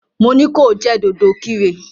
Mo ní ko jẹ́ dòdòkirè!